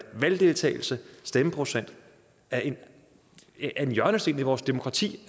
valgdeltagelsen stemmeprocenten er en hjørnesten i vores demokrati